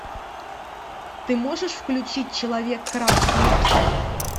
ты можешь включить человек краб с марса